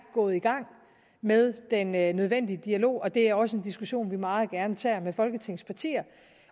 gået i gang med den nødvendige dialog og det er også en diskussion vi meget gerne tager med folketingets partier